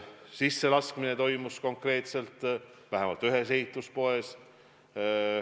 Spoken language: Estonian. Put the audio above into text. Sisselaskmine toimus konkreetselt, vähemalt ühes ehituspoes.